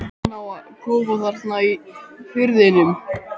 Hann á kofa þarna í firðinum.